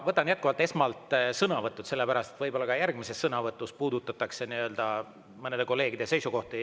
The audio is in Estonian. Võtan jätkuvalt esmalt sõnavõtud, sellepärast et võib-olla ka järgmises sõnavõtus puudutatakse mõnede kolleegide seisukohti.